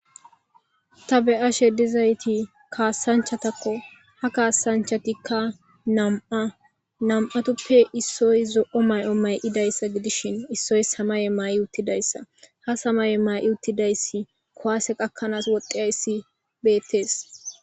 Ta beyashedizayti kaassanchatakko ha kaassanchatikka nam7a nam7atuppe issoy zo7o may7o may7idayssa gidishin issoy samaye maa7i uttidayssa ha samaye ma7i uttidayssi kowaase qakkanaas woddiayssi beettees.